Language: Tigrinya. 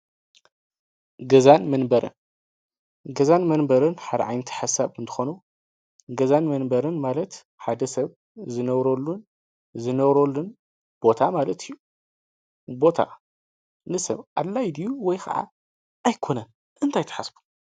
ገዛን መንበሪን፦ ገዛን መንበሪን ሓደ ዓይነት ሓሳብ እንትኾኑ ገዛን መንበሪን ማለት ሓደ ሰብ ዝነብረሉን ቦታ ማለት እዩ። ቦታ ንሰብ ኣድላይ ድዩ ወይ ክዓ ኣይኮነን እንታይ ትሓስቡ?